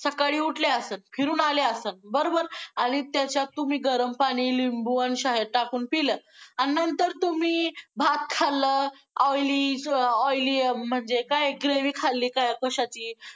सकाळी उठले आसल, फिरून आले आसल बरोबर! आणि त्याच्यात तुम्ही गरम पाणी, लिंबू आणि शहद टाकून पीलं आणि नंतर तुम्ही भात खाल्लं oily~ oily अं म्हणजे काय gravy खाल्ली कशाची